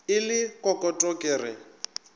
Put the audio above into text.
e le kokoto ke re